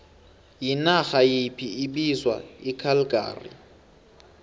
yinarha yiphi bizwa icalgary